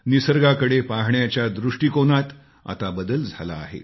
निसर्गाकडे पाहण्याच्या दृष्टिकोनात आता बदल झाला आहे